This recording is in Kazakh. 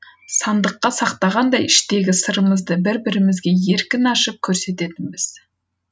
сандыққа сақтағандай іштегі сырымызды бір бірімізге еркін ашып көрсететінбіз